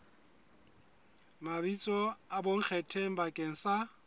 mabitso a bonkgetheng bakeng sa